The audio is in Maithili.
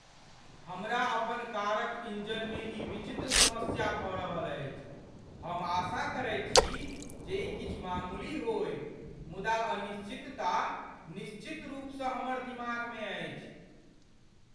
हमरा अपन कारक इन्जनमे ई विचित्र समस्या भऽ रहल अछि। हम आशा करैत छी जे ई किछु मामूली होइ , मुदा अनिश्चितता निश्चितरूपसँ हमर दिमागमे अछि।